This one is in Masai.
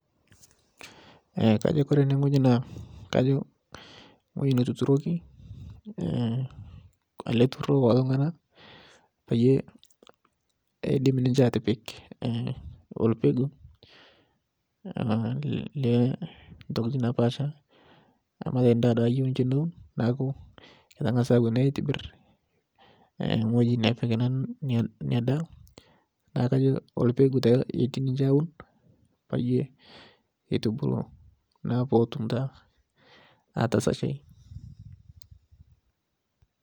Kajo Kore ene ng'oji naa kajo ng'oji netuturoki ale lturur lekulotungana payie eidim ninche atipik olpegu leentokitin naapasha metejo duake ndaa ayeu niche neun naaku keteweni ngas aitibir ng'oji nepik nia daa naakajo lpegu taa eti ninche aaun payie etubulu naa petum taa atasashai.